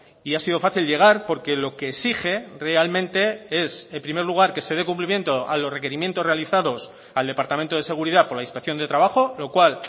y ha sido fácil llegar porque lo que exige realmente es en primer lugar que se dé cumplimiento a los requerimientos realizados al departamento de seguridad por la inspección de trabajo lo cual